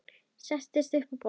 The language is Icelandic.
Sest upp á borð.